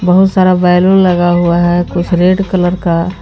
बहुत सारा बैलून लगा हुआ है कुछ रेड कलर का --